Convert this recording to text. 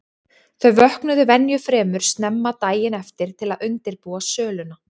Þau vöknuðu venju fremur snemma daginn eftir til að undirbúa söluna.